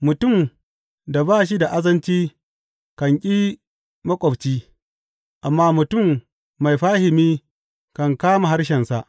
Mutum da ba shi da azanci kan ki maƙwabci, amma mutum mai fahimi kan ƙame harshensa.